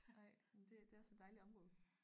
Ej jamen det det også et dejligt område